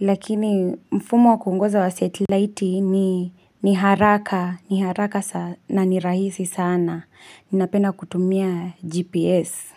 Lakini mfumo wa kuongoza wa satellitei ni, ni haraka ni haraka sa na nirahisi sana ninapenda kutumia GPS.